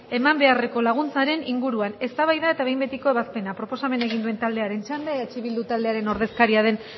eman beharreko laguntzaren inguruan eztabaida eta behin betiko ebazpena proposamena egin duen taldearen txanda eh bildu taldearen ordezkaria den